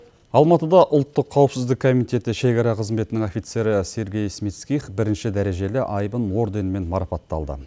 алматыда ұлттық қауіпсіздік комитеті шекара қызметінің офицері сергей смитских бірінші дәрежелі айбын орденімен марапатталды